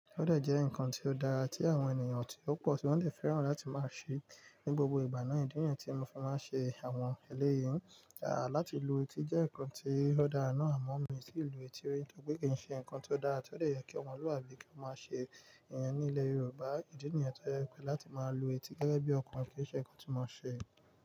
Ó dẹ̀ jẹ́ ǹkan tó dára tí àwọn ènìyàn tí ò pọ̀ tí wọ́n dé fẹ́ràn láti máa ṣé. Ni gbogbo ìgbà náà ìdí nìyen tí mo fi máa ṣe àwọn eléyìí. Láti lu etí jẹ́ ǹkan tí ó dára náà amọ́ mi o ti lu etí ri, nítorí pé kì í ṣe ǹkan tí ó dára tí ó dè yẹ kí ọmọlúàbí kí ó máa ṣe. Ní ilẹ̀ Yorùbá, ìdí nìyenn tó jẹ pé láti máa lu etí gẹ́gẹ́ bí ọkùnrin kì í ṣe ǹkan tí máa ṣe.